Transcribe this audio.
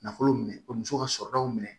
Nafolo minɛ ka muso ka sɔrɔdaw minɛ